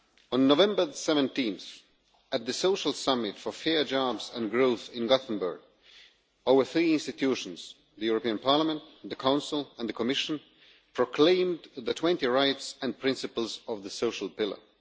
On 17 November at the Social Summit for Fair Jobs and Growth in Gothenburg, our three institutions the European Parliament, the Council and the Commission proclaimed the 20 rights and principles of the social pillar.